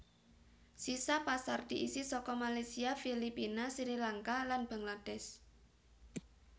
Sisa pasar diisi saka Malaysia Filipina Sri Lanka lan Bangladesh